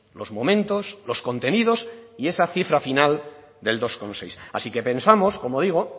los momentos los contenidos y esa cifra final del dos coma seis así que pensamos como digo